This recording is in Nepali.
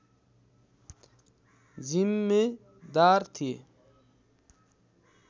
जिम्मेदार थिए